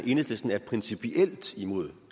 enhedslisten er principielt imod